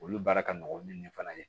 Olu baara ka nɔgɔn ni nin fana ye